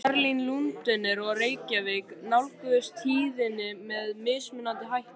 Berlín, Lundúnir og Reykjavík nálguðust tíðindin með mismunandi hætti.